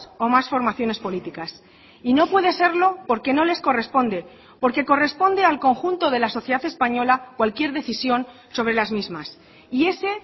o más formaciones políticas y no puede serlo porque no les corresponde porque corresponde al conjunto de la sociedad española cualquier decisión sobre las mismas y ese